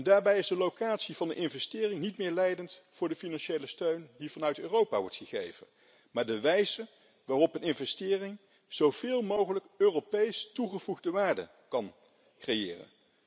Daarbij is de locatie van de investering niet meer leidend voor de financiële steun die vanuit Europa wordt gegeven, maar de wijze waarop een investering zoveel mogelijk Europees toegevoegde waarde kan creëren.